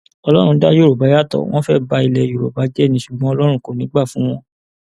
ọlọrun dá yorùbá yàtọ wọn fẹẹ ba ilé yorùbá jẹ ni ṣùgbọn ọlọrun kò ní í gbà fún wọn